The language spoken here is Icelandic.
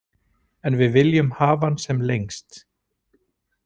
En við viljum hafa hann sem lengst.